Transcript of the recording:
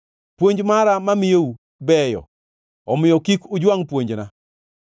Puonj mara mamiyou beyo, omiyo kik ujwangʼ puonjna.